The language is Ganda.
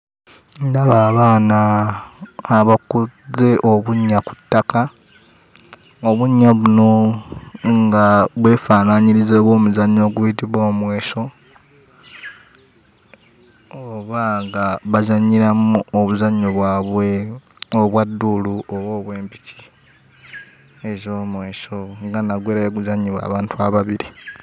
Ndaba abaana abakoze obunnya ku ttaka, obunnya buno nga bwefaanaanyiriza obw'omuzannyo oguyitibwa omweso oba nga bazannyiramu obuzannyo bwabwe obwa dduulu oba obw'empiki ez'omweso, nga nagwo era bwe guzannyibwa abantu ababiri.